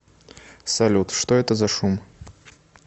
салют что это за шум